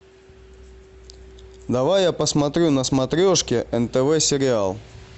давай я посмотрю на смотрешке нтв сериал